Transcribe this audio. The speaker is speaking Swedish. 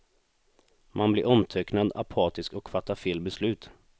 Man blir omtöcknad, apatisk och fattar fel beslut.